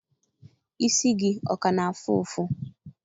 Isi gị ọ ka na-afụ ụfụ?